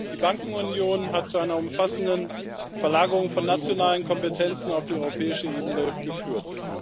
Die Bankenunion hat zu einer umfassenden Verlagerung von nationalen Kompetenzen auf die europäische Ebene geführt.